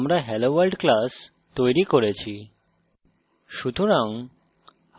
মনে করুন যে আমরা helloworld class তৈরি করেছি